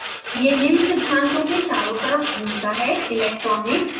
यह निम्न सिद्धांतों के चरों तरफ़ घूमता है: electronics